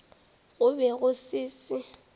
go be go se se